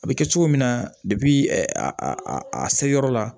A bɛ kɛ cogo min na a seyɔrɔ la